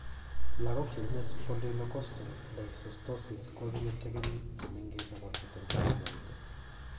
Lagok chetinye spondylocostal dysostosis ko tinye tekenik che mengech ako tenden che mo etu.